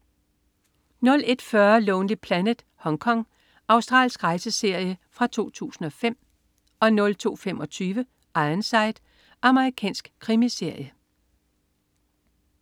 01.40 Lonely Planet: Hongkong. Australsk rejseserie fra 2005 02.25 Ironside. Amerikansk krimiserie